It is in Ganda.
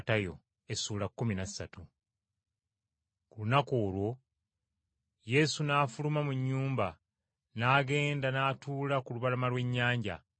Ku lunaku olwo Yesu n’afuluma mu nnyumba n’agenda n’atuula ku lubalama lw’ennyanja.